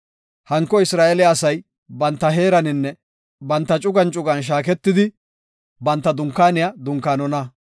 Hanko Isra7eele asay banta heeraninne banta cugan cugan shaaketidi, banta dunkaaniya dunkaanona.